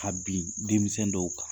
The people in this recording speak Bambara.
Ka bin denmisɛnw dɔw kan!